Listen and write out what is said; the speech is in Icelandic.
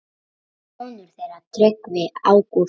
Sonur þeirra Tryggvi Ágúst.